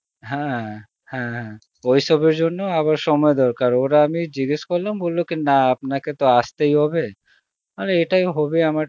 হ্যাঁ হ্যাঁ ওইসবের জন্য আবার সময়ের দরকার ওরা আমি জিজ্ঞাসা করলাম বলল কি না আপনাকে তো আসতেই হবে, আরে এটাই হবে আমার